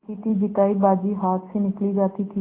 जीतीजितायी बाजी हाथ से निकली जाती थी